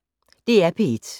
DR P1